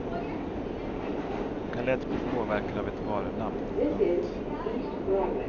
De kan lätt bli påverkade av ett varunamn. punkt